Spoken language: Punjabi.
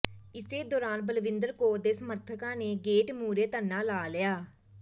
ਇਸੇ ਦੌਰਾਨ ਬਲਵਿੰਦਰ ਕੌਰ ਦੇ ਸਮਰਥਕਾਂ ਨੇ ਗੇਟ ਮੂਹਰੇ ਧਰਨਾ ਲਾ ਲਿਆ